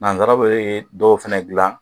Nansaraw bɛ ye dɔw fana dilan